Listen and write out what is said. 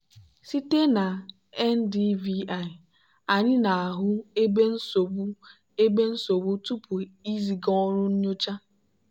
site na ndvi anyị na-ahụ ebe nsogbu ebe nsogbu tupu iziga ọrụ nyocha.